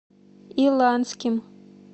иланским